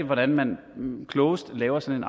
hvordan man klogest laver sådan